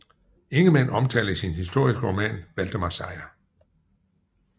Ingemann omtaler i sin historiske roman Valdemar Seier